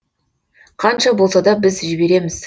қанша болса да біз жібереміз